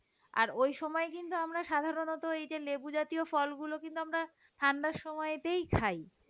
আর ওই সময় কিন্তু আমরা সাধারণত ওই যে লেবু জাতীয় ফলগুলো কিন্তু আমরা ঠান্ডার সময়তেই খাই,